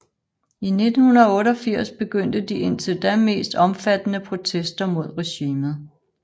I 1988 begyndte de indtil da mest omfattende protester mod regimet